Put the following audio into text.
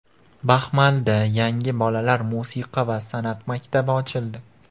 Baxmalda yangi bolalar musiqa va san’at maktabi ochildi.